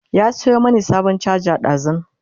ya Sayo mani sabon charger ɗazun